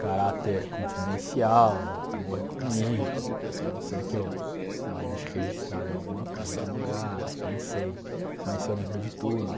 caráter confidencial, é morrer comigo, a não ser que eu né deixe registrado em alguma em algum lugar, nem sei, mas eu lembro de tudo.